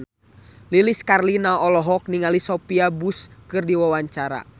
Lilis Karlina olohok ningali Sophia Bush keur diwawancara